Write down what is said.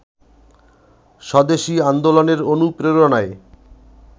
স্বদেশি আন্দোলনের অনুপ্রেরণায়